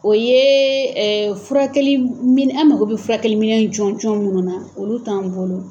O yee furakɛli min an mago be furakɛli minɛn jɔnjɔn minnu na olu t'an bolo.